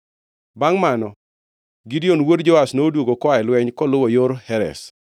Bangʼ mano Gideon wuod Joash noduogo koa e lweny koluwo yor Heres.